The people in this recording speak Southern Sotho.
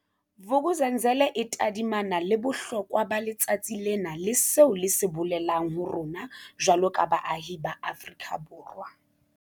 Vuk'uzenzele e tadimana le bohlokwa ba letsatsi lena le seo le se bolelang ho rona jwaloka baahi ba Afrika Borwa.